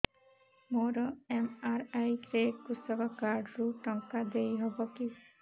ମୋର ଏମ.ଆର.ଆଇ ରେ କୃଷକ କାର୍ଡ ରୁ ଟଙ୍କା ଦେଇ ହବ କି